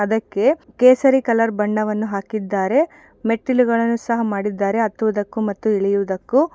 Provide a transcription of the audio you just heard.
ಅದಕ್ಕೆ ಕೇಸರಿ ಕಲರ್ ಬಣ್ಣವನ್ನು ಹಾಕಿದ್ದಾರೆ. ಮೆಟ್ಟಿಲು ಗಳನ್ನು ಸಹ ಮಾಡಿದ್ದಾರೆ ಹತ್ತುವುದಕ್ಕೂ ಮತ್ತು ಇಳಿಯುವುದಕ್ಕೂ --